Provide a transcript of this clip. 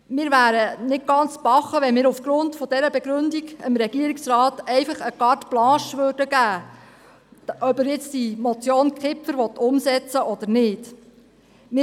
Wir wären nicht ganz dicht, wenn wir aufgrund dieser Begründung dem Regierungsrat einfach eine Carte blanche geben würden, ob er die Motion Kipfer umsetzen wolle oder nicht .